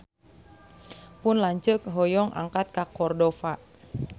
Pun lanceuk hoyong angkat ka Cordova